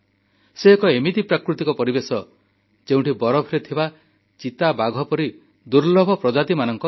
ସେ ଏକ ଏମିତି ପ୍ରାକୃତିକ ପରିବେଶ ଯେଉଁଠି ବରଫରେ ଥିବା ଚିତାବାଘ ପରି ଦୁର୍ଲଭ ପ୍ରାଣୀମାନଙ୍କର ଘର